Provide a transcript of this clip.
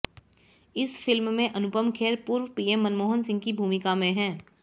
इस फिल्म में अनुपम खेर पूर्व पीएम मनमोहम सिंह की भूमिका में हैं